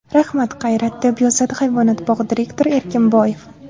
Rahmat Qayrat!”, deb yozadi hayvonot bog‘i direktori Erkinboyev.